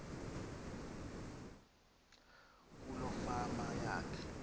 kuloo fama yakhe